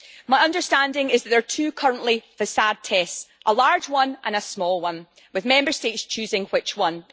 My understanding is that there are currently two facade tests, a large one and a small one, with Member States choosing which one.